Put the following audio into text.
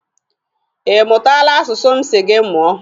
Ị mụtala asụsụ m si gị mụọ?